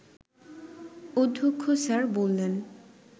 অধ্যক্ষ স্যার বললেন